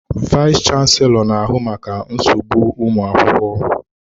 Vayis chansilọ na ahụ maka nsogbu ụmụ akwụkwọ.